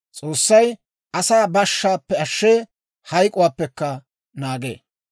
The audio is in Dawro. S'oossay asaa bashshaappe ashshee; hayk'uwaappekka naagee.